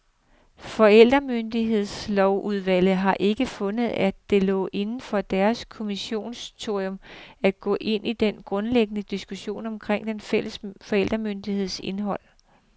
Forældremyndighedslovsudvalget har ikke fundet, at det lå inden for deres kommissorium, at gå ind i den grundlæggende diskussion omkring den fælles forældremyndigheds indhold.